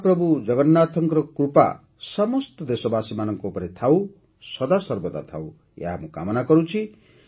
ମହାପ୍ରଭୁ ଜଗନ୍ନାଥଙ୍କ କୃପା ସମସ୍ତ ଦେଶବାସୀମାନଙ୍କ ଉପରେ ସଦାସର୍ବଦା ଥାଉ - ମୁଁ ଏହି କାମନା କରୁଛି